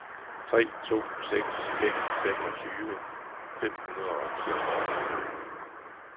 tre to seks fem femogtyve fem hundrede og niogfyrre